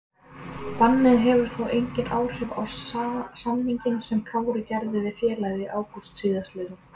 Bannið hefur þó engin áhrif á samninginn sem Kári gerði við félagið í ágúst síðastliðnum.